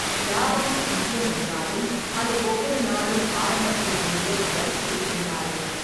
லாபம் முக்கியம் என்றாலும், அது ஒவ்வொரு நாளும் ஆரம்பத்தில் வந்து வளர்ச்சியைத் தூண்டாது.